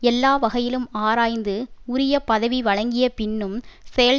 எல்லா வகையிலும் ஆராய்ந்து உரிய பதவி வழங்கிய பின்னும் செயல்